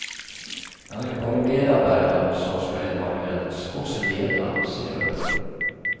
Det er ikke bare medarbeideren som skal evalueres, også lederen, sier hun.